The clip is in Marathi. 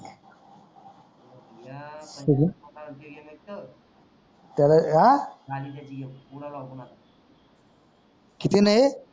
किती नाही येत.